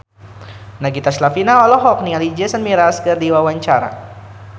Nagita Slavina olohok ningali Jason Mraz keur diwawancara